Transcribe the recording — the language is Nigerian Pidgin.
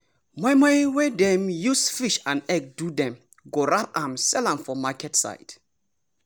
moi moi wey dem use fish and egg do dem go wrap am sell am for market side.